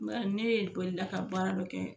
Nka ne ye bolila ka baara dɔ kɛ.